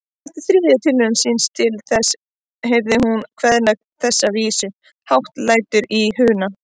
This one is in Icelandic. Eftir þriðju tilraun sína til þess heyrði hún kveðna þessa vísu: Hátt lætur í Hruna